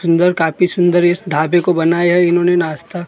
सुन्दर काफी सुन्दर इस ढाबे को बनाया इन्होने नाश्ता पॉइंट के लिए।